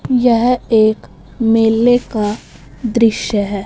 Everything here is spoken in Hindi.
यह एक मेले का दृश्य है।